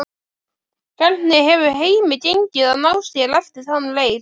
Hvernig hefur heimi gengið að ná sér eftir þann leik?